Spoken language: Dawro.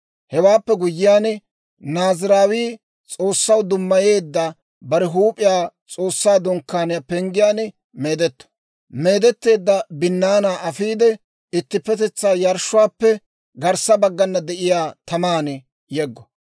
Hewaappe guyyiyaan, Naaziraawii S'oossaw dummayeedda bare huup'iyaa S'oossaa Dunkkaaniyaa penggiyaan meedetto; meedetteedda binnaanaa afiide, ittippetetsaa yarshshuwaappe garssa baggana de'iyaa taman yeggo.